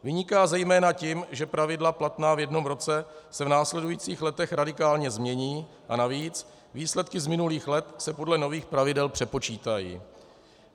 Vyniká zejména tím, že pravidla platná v jednom roce se v následujících letech radikálně změní a navíc výsledky z minulých let se podle nových pravidel přepočítají.